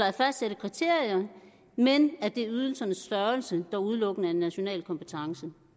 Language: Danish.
at fastsætte kriterier men at det er ydelsernes størrelse der udelukkende er en national kompetence